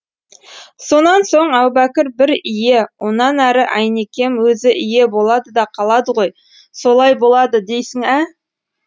сонан соң әубәкір бір ие онан әрі әйнекем өзі ие болады да қалады ғой солай болады дейсің ә